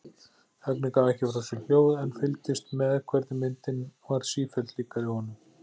Högni gaf ekki frá sér hljóð en fylgdist með hvernig myndin varð sífellt líkari honum.